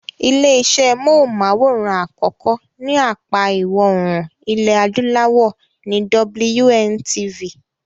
Ilé iṣé móhùn-máwòrán àkọ́kọ́ ní apá ìwọòrùn ilẹ̀ adúláwọ̀ ni WNTV.